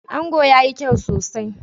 Ango yayi kyau sosai.